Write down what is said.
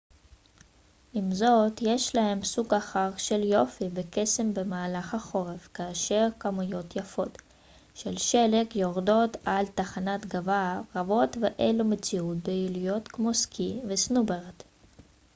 עם זאת יש להם סוג אחר של יופי וקסם במהלך החורף כאשר כמויות יפות של שלג יורדות על תחנות גבעה רבות ואלו מציעות פעילויות כמו סקי וסנובורד